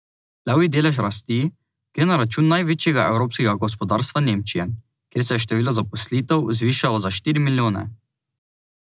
Levji delež rasti gre na račun največjega evropskega gospodarstva Nemčije, kjer se je število zaposlitev zvišalo za štiri milijone.